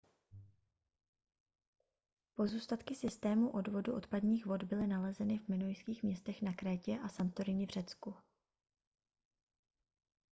pozůstatky systémů odvodu odpadních vod byly nalezeny v minojských městech na krétě a santorini v řecku